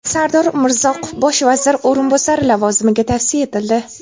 Sardor Umrzoqov bosh vazir o‘rinbosari lavozimiga tavsiya etildi.